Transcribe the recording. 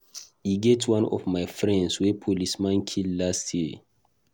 E get one of my friends wey policeman kill last year